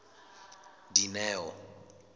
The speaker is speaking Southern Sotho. dineo